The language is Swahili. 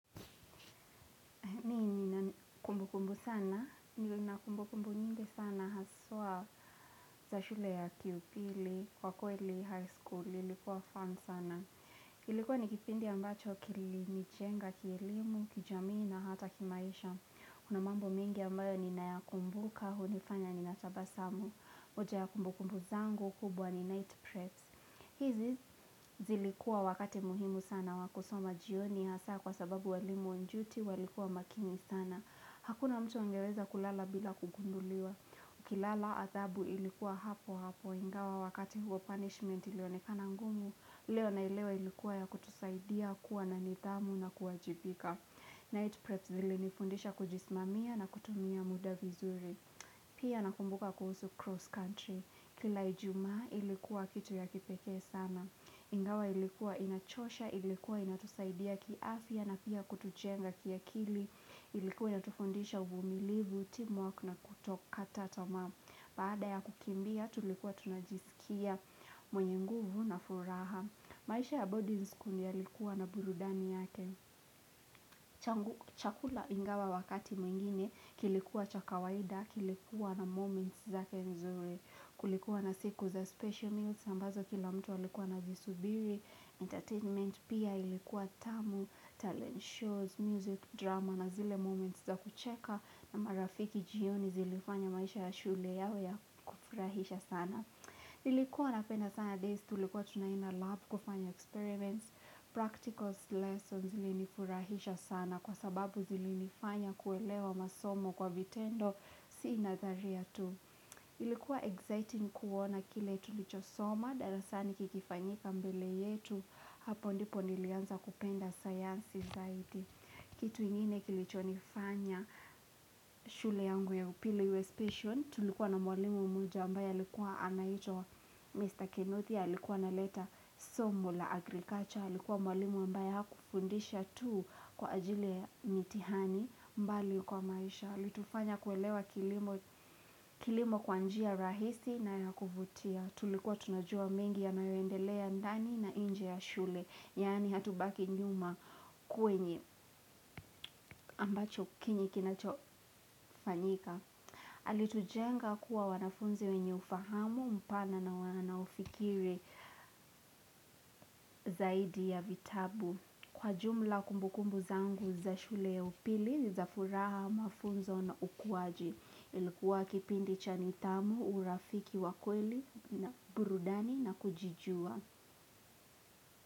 Kumbu kumbu sana, nina kumbu kumbu nyingi sana, haswa za shule ya upili, kwa kweli high school ilikuwa fun sana. Ilikuwa ni kipindi ambacho kilinijenga, kielimu, kijamii na hata kimaisha. Kuna mambo mingi ambayo ninayakumbuka, hunifanya ninatabasamu. Hoja ya kumbu kumbu zangu kubwa ni night preps. Hizi zilikua wakati muhimu sana wa kusoma jioni, hasa kwa sababu walimu on duty walikuwa makini sana. Hakuna mtu angeweza kulala bila kugunduliwa. Ukilala adabu ilikuwa hapo hapo ingawa wakati huo punishment ilionekana ngumu. Leo naelewa ilikuwa ya kutusaidia kuwa na nidhamu na kuwajibika. Night prep zilinifundisha kujisimamia na kutumia muda vizuri. Pia nakumbuka kuhusu cross country. Kila ijumaa ilikuwa kitu ya kipekee sana. Ingawa ilikuwa inachosha, ilikuwa inatusaidia kiafya na pia kutujenga kiakili. Ilikuwa inatufundisha uvumilivu, team work na kutokata tamaa Baada ya kukimbia, tulikuwa tunajisikia mwenye nguvu na furaha. Maisha ya boarding school yalikuwa na burudani yake Chakula ingawa wakati mwingine, kilikuwa cha kawaida, kilikuwa na moments zake mzuri. Kulikuwa na siku za special meals, ambazo kila mtu alikuwa anavisubiri Entertainment pia ilikuwa tamu, talent shows, music, drama na zile moments za kucheka na marafiki jioni zilifanya maisha ya shule yawe ya kufurahisha sana. Nilikuwa napenda sana days tulikuwa tunaenda lab kufanya experiments, practical lessons ilinifurahisha sana kwa sababu zilinifanya kuelewa masomo kwa vitendo si nadharia tu. Ilikuwa exciting kuona kile tulichosoma, darasani kikifanyika mbele yetu, hapo ndipo nilianza kupenda science society. Kitu ingine kilichonifanya shule yangu ya upili iwe specil, tulikuwa na mwalimu mmoja ambaye alikua anaitwa Mr. Kenneth, alikuwa analeta somo la agriculture, alikuwa mwalimu ambaye hakufundisha tu kwa ajili ya mtihani bali kwa maisha. Alitufanya kuelewa kilimo kwa njia y rahisi na ya kufutia. Tulikua tunajua mengi yayoendelea ndani na nje ya shule. Yani hatubaki nyuma kwenye ambacho kinachofanyika. Alitujenga kuwa wanafunzi wenye ufahamu mpana na wanaofikiri zaidi ya vitabu. Kwa jumla kumbukumbu zangu za shule ya upili, za furaha, mafunzo na ukuwaji, ilikuwa kipindi cha nidhamu, urafiki wa kweli, burudani na kujijua.